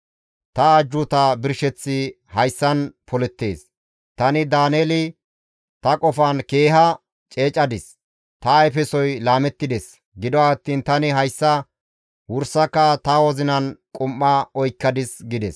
«Ta ajjuuta birsheththi hayssan polettees; tani Daaneeli ta qofan keeha ceecadis; ta ayfesoy laamettides; gido attiin tani hayssa wursaka ta wozinan qum7a oykkadis» gides.